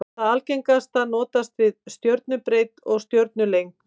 Það algengasta notast við stjörnubreidd og stjörnulengd.